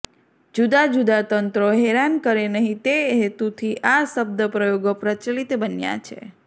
જુદા જુદા તંત્રો હેરાન કરે નહીં તે હેતુથી આ શબ્દપ્રયોગો પ્રચલિત બન્યાં છે